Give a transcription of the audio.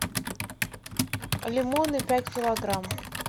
лимоны пять килограмм